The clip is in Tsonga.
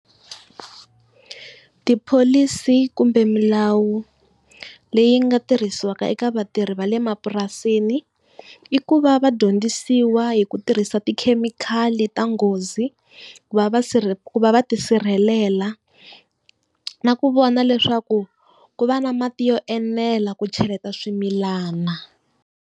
Tipholisi kumbe milawu leyi nga tirhisiwaka eka vatirhi va le mapurasini i ku va va dyondzisiwa hi ku tirhisa tikhemikhali ta nghozi ku vasirhe ku va va tisirhelela. Na ku vona leswaku ku va na mati yo enela ku cheleta swimilana.